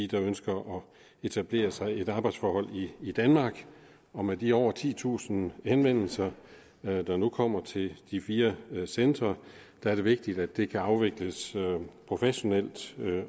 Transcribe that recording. der ønsker at etablere sig i et arbejdsforhold i danmark og med de over titusind henvendelser der nu kommer til de fire centre er det vigtigt at det kan afvikles professionelt